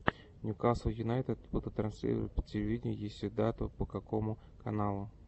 ньюкасл юнайтед будут транслировать по телевидению если дату по какому каналу